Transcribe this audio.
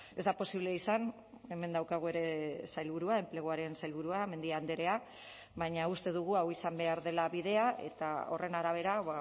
ez da posible izan hemen daukagu ere sailburua enpleguaren sailburua mendia andrea baina uste dugu hau izan behar dela bidea eta horren arabera